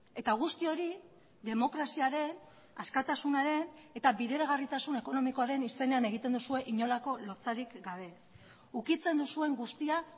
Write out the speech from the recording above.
eta guzti hori demokraziaren askatasunaren eta bideragarritasun ekonomikoaren izenean egiten duzue inolako lotsarik gabe ukitzen duzuen guztia